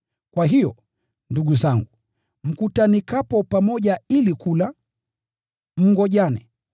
Kwa hiyo, ndugu zangu, mkutanikapo pamoja ili kula, mngojane.